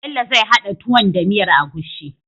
Bell zai hada tuwon da miyar agushi